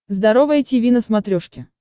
здоровое тиви на смотрешке